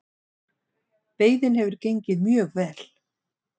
Veiðin hefur gengið mjög vel